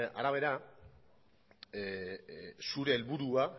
arabera zure helburua